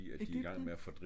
Egypten